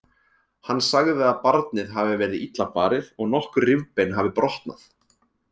Hann sagði að barnið hafi verið illa barið og nokkur rifbein hafi brotnað.